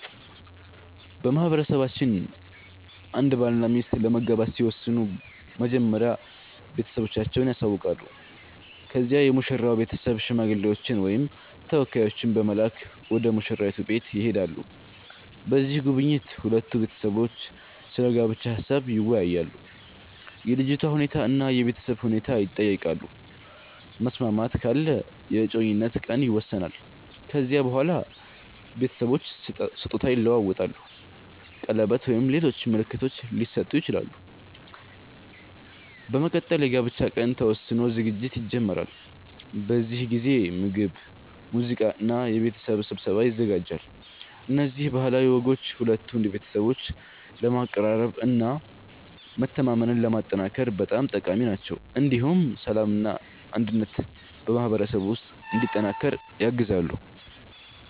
በማህበረሰባችን አንድ ባልና ሚስት ለመጋባት ሲወስኑ መጀመሪያ ቤተሰቦቻቸውን ያሳውቃሉ። ከዚያ የሙሽራው ቤተሰብ ሽማግሌዎችን ወይም ተወካዮችን በመላክ ወደ ሙሽራይቱ ቤት ይሄዳሉ። በዚህ ጉብኝት ሁለቱ ቤተሰቦች ስለ ጋብቻ ሀሳብ ይወያያሉ፣ የልጅቷ ሁኔታ እና የቤተሰብ ሁኔታ ይጠየቃሉ። መስማማት ካለ የእጮኝነት ቀን ይወሰናል። ከዚያ በኋላ ቤተሰቦች ስጦታ ይለዋወጣሉ፣ ቀለበት ወይም ሌሎች ምልክቶች ሊሰጡ ይችላሉ። በመቀጠል የጋብቻ ቀን ተወስኖ ዝግጅት ይጀመራል። በዚህ ጊዜ ምግብ፣ ሙዚቃ እና የቤተሰብ ስብሰባ ይዘጋጃል። እነዚህ ባህላዊ ወጎች ሁለቱን ቤተሰቦች ለማቀራረብ እና መተማመንን ለማጠናከር በጣም ጠቃሚ ናቸው። እንዲሁም ሰላምና አንድነት በማህበረሰቡ ውስጥ እንዲጠናከር ያግዛሉ።